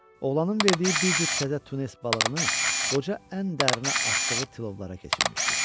Oğlanın verdiyi bir cüt təzə tunes balığını qoca ən dərinə atdığı tilovlara keçirmişdi.